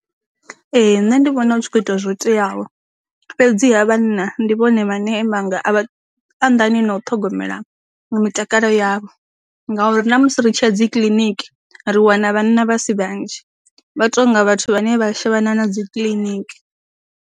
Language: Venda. Ee nṋe ndi vhona hu tshi kho ita zwo teaho, fhedzi ha vhanna ndi vhone vhane vhanga a anḓani na u ṱhogomela mitakalo yavho, ngauri na musi ri tshi ya dzi kiliniki, ri wana vhana vha si vhanzhi, vha tonga vhathu vhane vha a shavhana na dzi kiḽiniki.